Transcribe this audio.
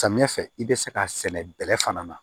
Samiya fɛ i bɛ se k'a sɛnɛ bɛlɛ fana na